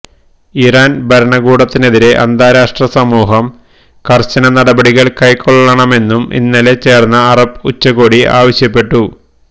Iran ഭരണകൂടത്തിനെതിരെ അന്താരാഷ്ട്ര സമൂഹം കർശന നടപടികൾ കൈക്കൊള്ളണമെന്നും ഇന്നലെ ചേർന്ന അറബ് ഉച്ചകോടി ആവശ്യപ്പെട്ടു